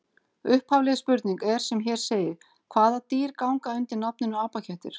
Upphafleg spurning er sem hér segir: Hvaða dýr ganga undir nafninu apakettir?